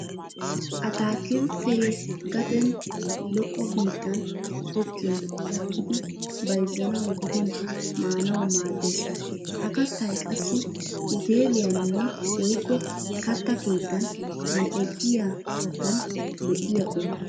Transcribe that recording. Attaakilttee gaden lo'o bittan tokkin gakkidi bayzzanawu gidin maanawu maaddes. Ha kattay qassi uteeliyaninne woykko katta keettan mal'ettiya kattin lo'iya quma.